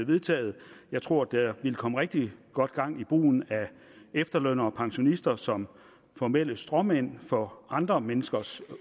vedtaget jeg tror at der ville komme rigtig godt gang i brugen af efterlønnere og pensionister som formelle stråmænd for andre menneskers